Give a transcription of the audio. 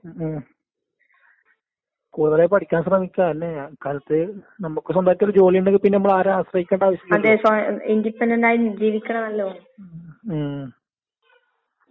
വിദ്യാഭ്യാസം അത്രക്കും ഏ അത്യാവശ്യമായ കാര്യാണ്. ഇപ്പൊ വേറെ ആളത് കാണുമ്പാന്ന് നമ്മളന്ന് പഠിച്ച്നെങ്കില്ന്നുള്ള ചിന്ത നമക്ക്ണ്ടാവുന്നത് വേറൊരാളത് കാണുമ്പാന്ന്. അത് ശെരിയല്ലേ?